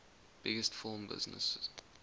biggest film business